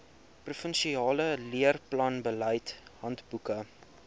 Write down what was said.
provinsiale leerplanbeleid handboeke